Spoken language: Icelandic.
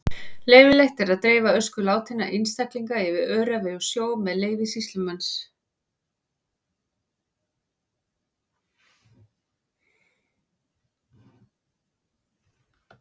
Leyfilegt er að dreifa ösku látinna einstaklinga yfir öræfi og sjó með leyfi sýslumanns.